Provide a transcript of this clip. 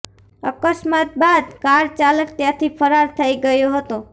અકસ્માત બાદ કાર ચાલક ત્યાથી ફરાર થઇ ગયો હતો